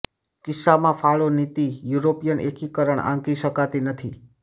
કિસ્સામાં ફાળો નીતિ યુરોપિયન એકીકરણ આંકી શકાતી નથી